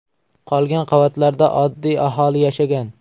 Qolgan qavatlarda oddiy aholi yashagan.